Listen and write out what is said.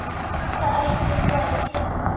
Hvað ætti ég að gera?